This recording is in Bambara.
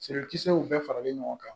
w bɛɛ faralen ɲɔgɔn kan